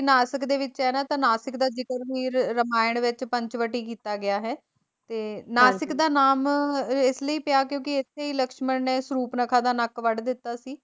ਨਾਸਿਕ ਦੇ ਵਿੱਚ ਹੈ ਨਾ ਤਾਂ ਨਾਸ਼ਿਕ ਦਾ ਜਿਕਰ ਵੀ ਰਮਾਇਣ ਵਿੱਚ ਪੰਚਵਟੀ ਕੀਤਾ ਗਿਆ ਹੈ ਤੇ ਨਾਸਿਕ ਨਾਸ਼ਿਕ ਦਾ ਨਾਮ ਇਸ ਲਈ ਪਿਆ ਕਿਉਂਕਿ ਇੱਥੇ ਹੀ ਲਕਸ਼ਮਣ ਨੇ ਸਰੂਪਨਖਾ ਦਾ ਨੱਕ ਵੱਢ ਦਿੱਤਾ ਸੀ।